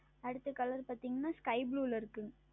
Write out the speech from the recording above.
அடுத்த Color பார்த்தீர்கள் என்றால் Sky Blue ல் இருக்கும்